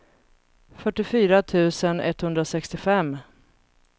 fyrtiofyra tusen etthundrasextiofem